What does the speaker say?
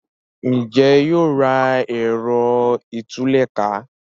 Njé yóò rà Ẹ̀rọ ìtúlẹ̀ká?